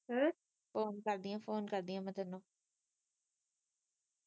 Phone ਕਰਦੀਆਂ phone ਕਰ ਦੀਆ ਮੈ ਤੈਨੂੰ।